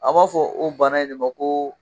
An b'a fɔ o bana in de ma ko.